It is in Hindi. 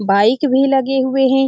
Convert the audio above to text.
बाइक भी लगे हुए हैं।